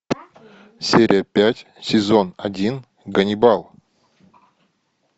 серия пять сезон один ганнибал